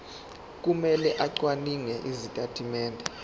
kumele acwaninge izitatimende